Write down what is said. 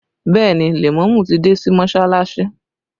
Bẹẹ ni, lèmọ́mù ti dé sí Mọsalasi